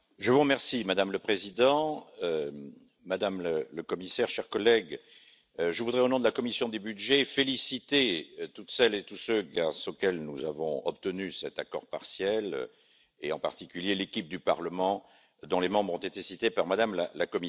Madame la Présidente, Madame la Commissaire, chers Collègues, je voudrais, au nom de la commission des budgets, féliciter toutes celles et tous ceux grâce à qui nous avons obtenu cet accord partiel, et en particulier l'équipe du Parlement dont les membres ont été cités par Mme la Commissaire.